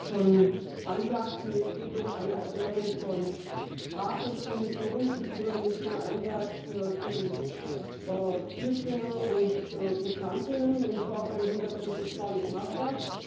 Wie Sie eben schon ansagten Es geht um eine Erklärung von Rat und Kommission zum übermäßigen Einsatz gegen Flüchtlinge und Migrantinnen und zwar vor dem Hintergrund des Falles Mafda.